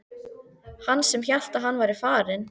Hann sem hélt að hann væri farinn!